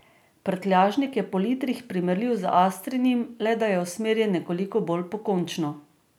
Prtljažnik je po litrih primerljiv z astrinim, le da je usmerjen nekoliko bolj pokončno.